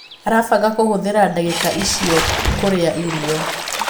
Arabanga kũhuthira dagika icio kũria irĩo